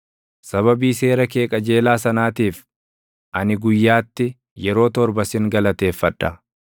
Sababii seera kee qajeelaa sanaatiif, ani guyyaatti yeroo torba sin galateeffadha.